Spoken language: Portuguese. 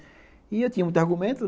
E eu tinha muitos argumentos.